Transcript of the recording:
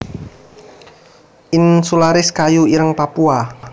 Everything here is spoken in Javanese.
insularis kayu ireng Papua